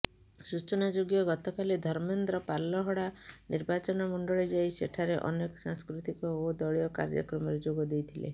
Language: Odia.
ସୂଚନାଯୋଗ୍ୟ ଗତକାଲି ଧର୍ମେନ୍ଦ୍ର ପାଲଲହଡ଼ା ନିର୍ବାଚନମଣ୍ଡଳୀ ଯାଇ ସେଠାରେ ଅନେକ ସାଂସ୍କୃତିକ ଓ ଦଳୀୟ କାର୍ଯ୍ୟକ୍ରମରେ ଯୋଗ ଦେଇଥିଲେ